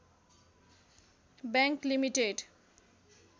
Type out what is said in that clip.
bank limited